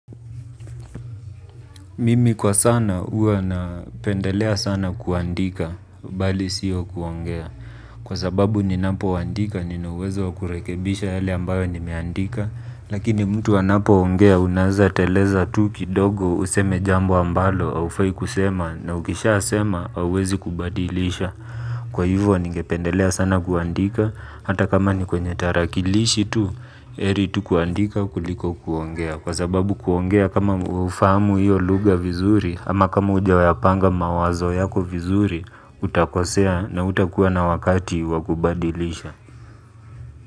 Mimi kwa sana huwa na pendelea sana kuandika bali sio kuongea. Kwa sababu ni napo andika nina uwezo wa kurekebisha yale ambayo nimeandika. Lakini mtu anapo ongea unaweza teleza tu kidogo useme jambo ambalo haufai kusema na ukisha sema hauwezi kubadilisha. Kwa hivyo ni gependelea sana kuandika. Hata kama ni kwenye tarakilishi tu ehri tu kuandika kuliko kuongea kwa sababu kuongea kama hufamu hiyo lugha vizuri ama kama hujayapanga mawazo yako vizuri utakosea na hutakuwa na wakati wa kubadilisha.